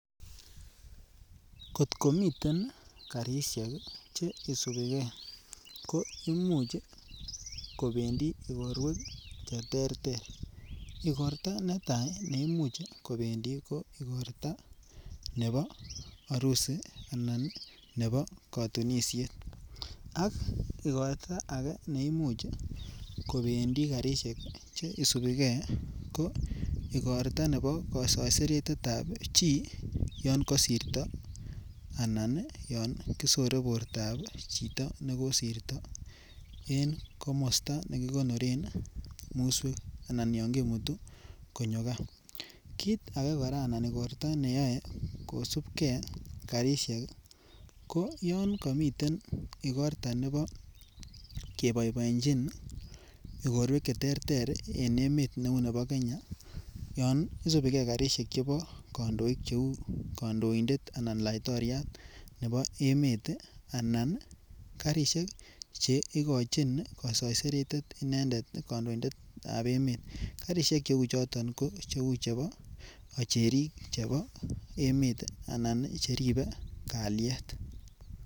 Kot komiten garishek ii che isupii gee ko imuch ii kobendii igorwek che terter, igorta netaa neimuch kobendii igorta nebo orusi ana nebo kotunisiet ak igorta age neimuch kobendii garishek che isupii gee ko igorta nebo kosoiseretet ab chi yon kosirto anan ii yon kisore bortab chito neko sirto komosto nekigonoren muswek ana yon kimutu konyo gaa. Kit agee koraa anan igorta neyoe kosupgee garishek ii ko yon komiten igorta nebo keboiboenyin igorwek che terter en emet be uu nebo Kenya yon isupii gee garishek chebo kondoik che uu kondoindet anan laitoriat nebo emet anan ii garishek ii che igochin ii kosoiseretet inendet kondoindet nebo emet garishek che uu choton ko uu chebo kocherik chebo emet anan cheribe kalyet